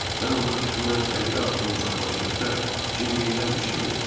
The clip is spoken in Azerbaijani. Mən ondan təxminən 50 addım uzaqlaşdıqda, Cim yenidən qışqırdı.